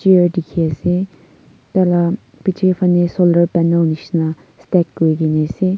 mirror dikhi ase tai la piche phale solar panel nishi na kuri kene ase.